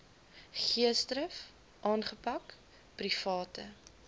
geesdrif aangepak private